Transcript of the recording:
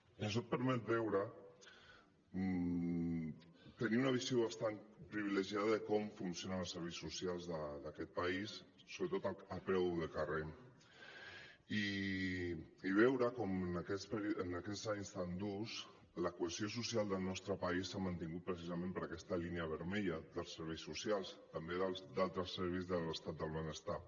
i això et permet veure tenir una visió bastant privilegiada de com funcionen els serveis socials d’aquest país sobretot a peu de carrer i veure com en aquests anys tan durs la cohesió social del nostre país s’ha mantingut precisament per aquesta línia vermella dels serveis socials també d’altres serveis de l’estat del benestar